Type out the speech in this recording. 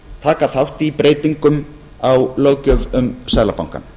taka þátt í breytingum á löggjöf um seðlabankann